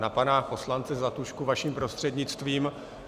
Na pana poslance Zlatušku vaším prostřednictvím.